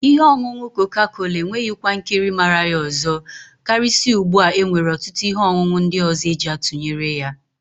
Ihe ọṅụṅụ koka-kola enweghị kwa nkiri màrà ya ọzọ, karịsịa ugbu a e nwere ọtụtụ ihe ọṅụṅụ ndị ọzọ eji atụnyere ya.